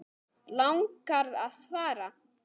Langar að fara.